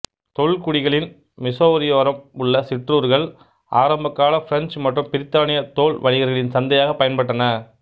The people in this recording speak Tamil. தொல்குடிகளின் மிசௌரியோரம் உள்ள சிற்றூர்கள் ஆரம்பகால பிரெஞ்சு மற்றும் பிரித்தானிய தோல் வணிகர்களின் சந்தையாக பயன்பட்டன